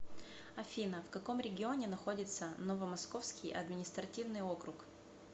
афина в каком регионе находится новомосковский административный округ